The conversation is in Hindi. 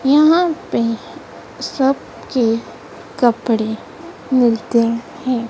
यहां पे सब के कपड़े मिलते हैं।